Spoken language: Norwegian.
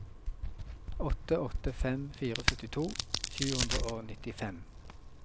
åtte åtte fem fire syttito sju hundre og nittifem